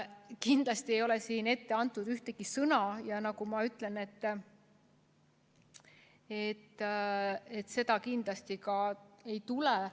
Kindlasti ei ole siin ette antud ühtegi sõna, ja nagu ma ütlesin, seda kindlasti ka ei tule.